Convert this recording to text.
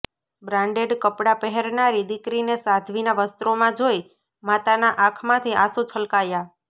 branded કપડા પહેરનારી દીકરીને સાધ્વીના વસ્ત્રોમાં જોઈ માતાના આંખમાંથી આસું છલકાયા